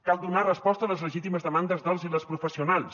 cal donar resposta a les legítimes demandes dels i les professionals